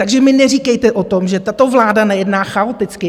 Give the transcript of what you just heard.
Takže mi neříkejte o tom, že tato vláda nejedná chaoticky.